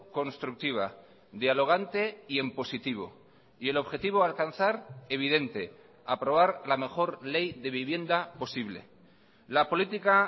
constructiva dialogante y en positivo y el objetivo a alcanzar evidente aprobar la mejor ley de vivienda posible la política